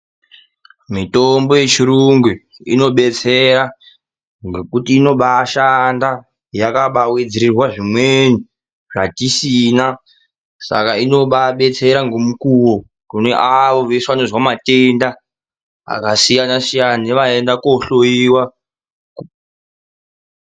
Mitombo yechirungu inodetsera ngekuti inobaashanda yakabaawedzererwa zvimweni zvatisina, saka inobaabetsera ngemukuwo kune avo vese vanozwa matenda akasiyana-siyana nevanoenda koohloyiwa.